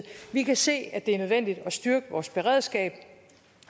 vi kan se at det er nødvendigt at styrke vores beredskab